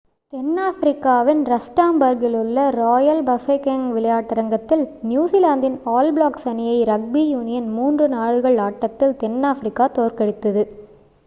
தென் ஆப்பிரிக்காவின் ரஸ்டாம்பார்க்கிலுள்ள Royal Bafokeng விளையாட்டரங்கத்தில் நியூஜிலாந்தின் ஆல் பிளாக்ஸ் அணியை ரக்பி யூனியன் மூன்று நாடுகள் ஆட்டத்தில் தென்னாப்பிரிக்கா தோற்கடித்தது